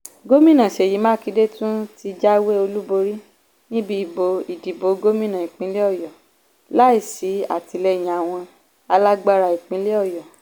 gómìnà seyi makinde tún ti jáwé olúborí níbi ìdìbò gómìnà ìpínlẹ̀ ọ̀yọ́ láìsí àtìlẹyìn àwọn alágbára ìpínlẹ̀ ọ̀yọ́